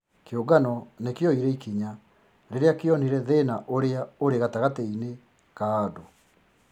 Kĩũngano nĩ kĩoire ikinya rĩrĩa kĩonire thĩna ũrĩa ũri gatagati-inĩ ka andũ